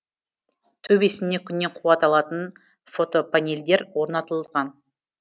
төбесіне күннен қуат алатын фотопанельдер орнатылған